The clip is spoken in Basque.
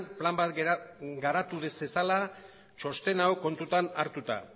plan bat garatu zezala txosten hau kontutan hartuta